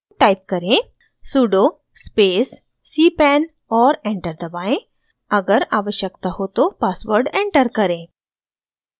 type करें sudo space cpan और enter दबाएं अगर आवश्यकता हो तो पासवर्ड एंटर करें